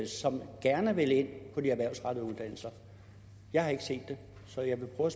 som gerne vil ind på de erhvervsrettede uddannelser jeg har ikke set det så jeg vil prøve